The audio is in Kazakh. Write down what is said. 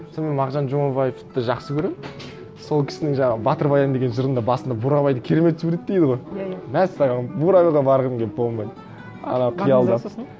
сонымен мағжан жұмабаевты жақсы көремін сол кісінің жаңағы батыр баян деген жырында басында бурабайды керемет суреттейді ғой иә иә мәссаған бурабайға барғым келіп болмайды ана қиялдап